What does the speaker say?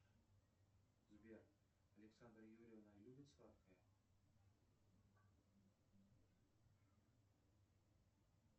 сбер александра юрьевна любит сладкое